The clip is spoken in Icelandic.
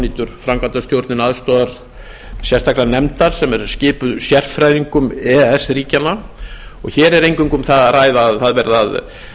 nýtur framkvæmdastjórnin aðstoðar sérstakrar nefndar sem er skipuð sérfræðingum e e s ríkjanna og hér er eingöngu um það að ræða að það verði að